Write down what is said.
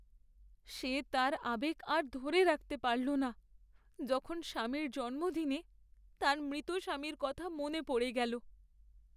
সে তার আবেগ আর ধরে রাখতে পারল না, যখন স্বামীর জন্মদিনে তার মৃত স্বামীর কথা মনে পড়ে গেলো।